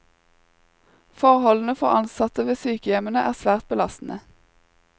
Forholdene for ansatte ved sykehjemmene er svært belastende.